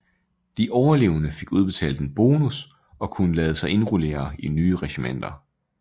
De overlevende fik udbetalt en bonus og kunne lade sig indrullere i nye regimenter